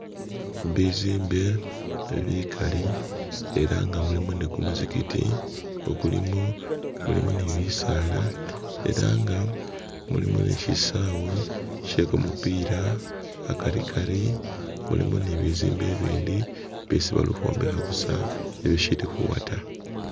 bizimbe bikali ela nga mulimo ni kumuzigiti ukulimo, mulimo ni bisaala era nga, mulimo ni shisaawe shye kumupira akari Kari mulimo ni bizimbe ibindi bisi bali uhwombeha busa ibishili huwa taa